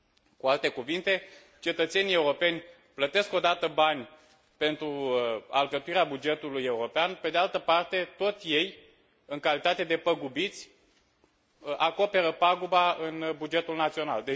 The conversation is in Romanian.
Cu alte cuvinte, cetățenii europeni plătesc o dată bani pentru alcătuirea bugetului european, pe de altă parte, tot ei, în calitate de păgubiți, acoperă paguba în bugetul național.